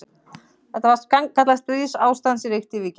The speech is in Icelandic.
Það var sannkallað stríðsástand sem ríkti í Víkinni.